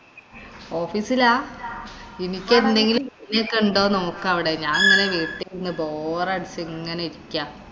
office ലാ. എനിക്കെന്തെങ്കിലും ഒക്കെ ഉണ്ടോന്ന് നോക്കവിടെ. ഞാനിങ്ങനെ വീട്ടിരുന്നു ബോറടിച്ചു ഇങ്ങനെ ഇരിക്കാ.